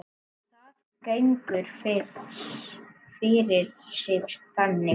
Það gengur fyrir sig þannig